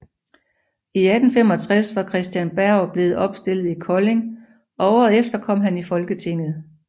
I 1865 var Christen Berg blevet opstillet i Kolding og året efter kom han i Folketinget